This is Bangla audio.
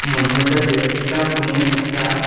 মনে হইতাসে এটা কোন একটা--